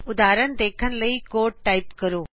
ਉਦਹਾਰਨ ਦੇਖਣ ਲਈ code type ਕਰੋ